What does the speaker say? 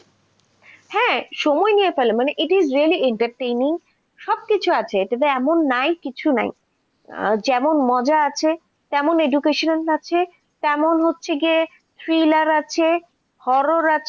হ্যাঁ সময় নিয়ে ফেলে মানে it is really at the same সবকিছু আছে এটাতে এমন নাই কিছু নাই যেমন মজা আছে তেমন education আছে তেমন হচ্ছে গিয়ে thriller আছে horror আছে.